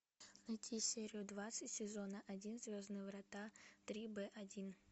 найти серию двадцать сезона один звездные врата три б один